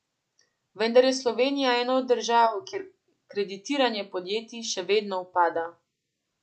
Vendar je Slovenija ena od držav, kjer kreditiranje podjetij še vedno upada.